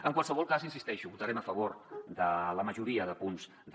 en qualsevol cas hi insisteixo votarem a favor de la majoria de punts de